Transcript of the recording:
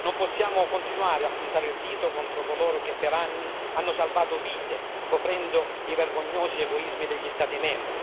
Non possiamo continuare a puntare il dito contro coloro che per anni hanno salvato vite, coprendo i vergognosi egoismi degli Stati membri,